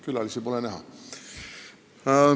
Külalisi pole näha.